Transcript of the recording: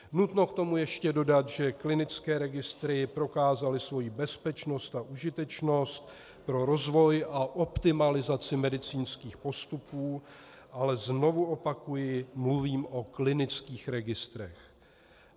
Nutno k tomu ještě dodat, že klinické registry prokázaly svoji bezpečnost a užitečnost pro rozvoj a optimalizaci medicínských postupů - ale znovu opakuji, mluvím o klinických registrech.